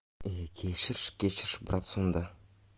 политический режим процессора